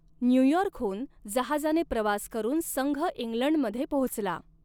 न्यूयॉर्कहून जहाजाने प्रवास करून संघ इंग्लंडमध्ये पोहोचला.